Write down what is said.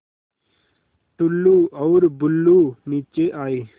टुल्लु और बुल्लु नीचे आए